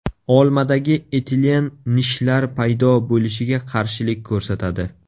Olmadagi etilen nishlar paydo bo‘lishiga qarshilik ko‘rsatadi.